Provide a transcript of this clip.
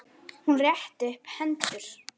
Hún rétti upp hendur.